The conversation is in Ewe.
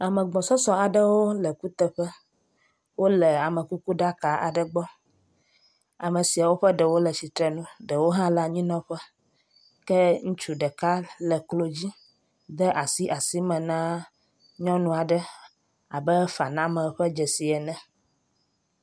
Ame gbɔsɔsɔ aɖewo le kuteƒe. Wole amekukuɖaka aɖe gbɔ. Ame siawo ƒe ɖewo le tsitre nu ɖewo hã le anyinɔƒe. Ke ŋutsu ɖeka le klo dzi de asi asime na nyɔnua ɖe abe faname ƒe dzesi ene.